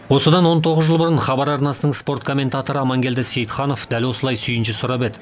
осыдан он тоғыз жыл бұрын хабар арнасының спорт комментаторы амангелді сейітханов дәл осылай сүйінші сұрап еді